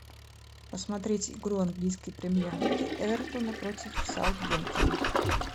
посмотреть игру английской премьер лиги эвертона против саутгемптона